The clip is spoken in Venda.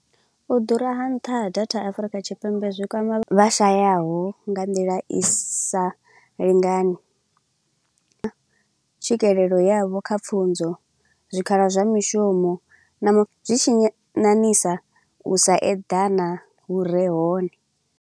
U ḓura ha nṱha ha datha Afurika Tshipembe zwi kwama vhashayaho nga nḓila i sa lingani. Tswikelelo yavho kha pfunzo, zwikhala zwa mishumo, na mu zwi tshi ṋaṋisa u sa eḓana vhure hone.